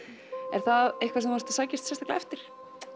er það eitthvað sem þú ert að sækjast sérstaklega eftir